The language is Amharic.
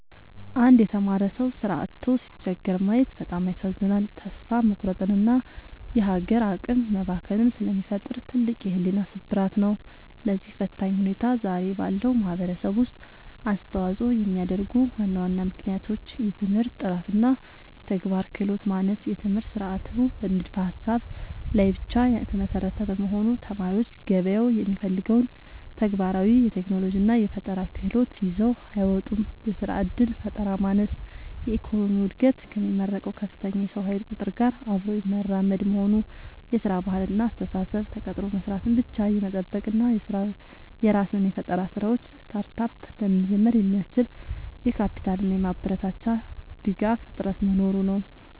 አንድ የተማረ ሰው ሥራ አጥቶ ሲቸገር ማየት በጣም ያሳዝናል፤ ተስፋ መቁረጥንና የሀገር አቅም መባከንን ስለሚፈጥር ትልቅ የሕሊና ስብራት ነው። ለዚህ ፈታኝ ሁኔታ ዛሬ ባለው ማኅበረሰብ ውስጥ አስተዋፅኦ የሚያደርጉ ዋና ዋና ምክንያቶች፦ የትምህርት ጥራትና የተግባር ክህሎት ማነስ፦ የትምህርት ሥርዓቱ በንድፈ-ሀሳብ ላይ ብቻ የተመሰረተ በመሆኑ፣ ተማሪዎች ገበያው የሚፈልገውን ተግባራዊ የቴክኖሎጂና የፈጠራ ክህሎት ይዘው አይወጡም። የሥራ ዕድል ፈጠራ ማነስ፦ የኢኮኖሚው ዕድገት ከሚመረቀው ከፍተኛ የሰው ኃይል ቁጥር ጋር አብሮ የማይራመድ መሆኑ። የሥራ ባህልና አስተሳሰብ፦ ተቀጥሮ መሥራትን ብቻ የመጠበቅ እና የራስን የፈጠራ ሥራዎች (Startup) ለመጀመር የሚያስችል የካፒታልና የማበረታቻ ድጋፍ እጥረት መኖሩ ነው።